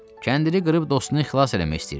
Kəndiri qırıb dostunu xilas eləmək istəyirmiş.